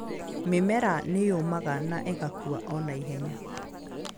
Mĩmera nĩ yũmaga na ĩgakua o na ihenya.